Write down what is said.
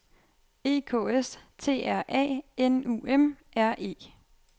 E K S T R A N U M R E